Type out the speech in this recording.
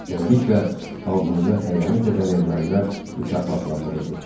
Beləliklə, xalqımıza xəyanət edən ermənilər mükafatlandırıldı.